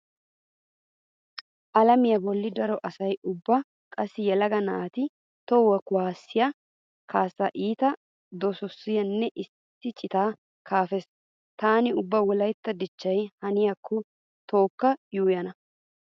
Alamiya bollan daro asay ubba qassi yelaga naati toho kuwaassiya kaassaa iita doseesinne issi citaa kaafees. Taani ubba wolaytta dichchaa haniyakko tookka yuuyyana.